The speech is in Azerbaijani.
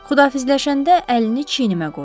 Xudafizləşəndə əlini çiynimə qoydu.